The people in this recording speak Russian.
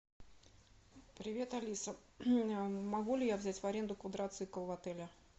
привет алиса могу ли я взять в аренду квадроцикл в отеле